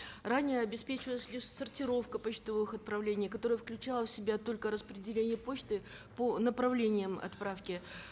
ранее обеспечивалась лишь сортировка почтовых отправлений которая включала в себя только рапределение почты по направлениям отправки